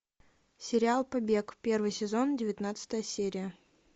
сериал побег первый сезон девятнадцатая серия